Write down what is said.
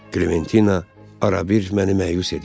Qləventina arabir məni məyus edir.